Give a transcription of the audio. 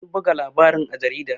An buga labarin a jarida